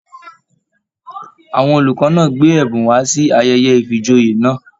Àwọn olùkọ náà gbé ẹbùn wá sí ayẹyẹ ifíjòyè náà